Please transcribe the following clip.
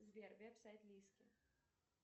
сбер веб сайт лиски